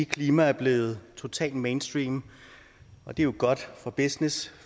klima er blevet totalt mainstream og det er jo godt for business